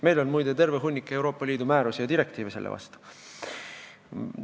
Meil on, muide, olemas terve hunnik Euroopa Liidu määrusi ja direktiive selle vastu.